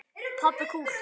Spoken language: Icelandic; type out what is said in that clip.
Pabbi kúl!